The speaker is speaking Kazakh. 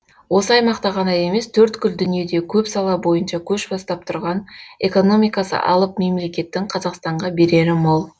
осы аймақта ғана емес төрткүл дүниеде көп сала бойынша көш бастап тұрған экономикасы алып мемлекеттің қазақстанға берері мол